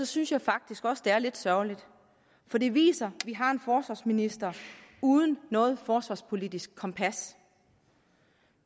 synes jeg faktisk også det er lidt sørgeligt for det viser at vi har en forsvarsminister uden noget forsvarspolitisk kompas